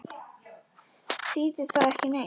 Þýðir það ekki neitt?